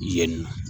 Yen nɔ